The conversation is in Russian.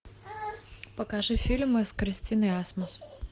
покажи фильмы с кристиной асмус